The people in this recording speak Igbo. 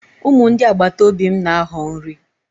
Ụmụ ndị agbataobi m na-ahọ nri.